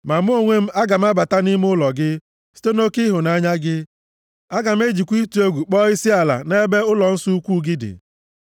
Ma mụ onwe m, aga m abata nʼime ụlọ gị, site nʼoke ịhụnanya gị; aga m ejikwa ịtụ egwu kpọọ isiala nʼebe ụlọnsọ ukwuu gị dị.